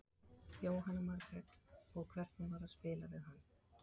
Jóhanna Margrét: Og, hvernig var að byrja að spila hann?